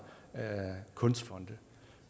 kunstfonde